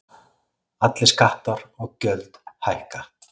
Allir skattar og gjöld hækka